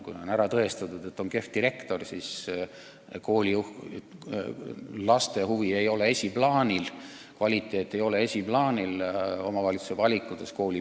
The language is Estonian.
Kui on ära tõestatud, et on kehv direktor, siis pole omavalitsuse valikutes laste huvid olnud esiplaanil, kvaliteet ei ole olnud esiplaanil.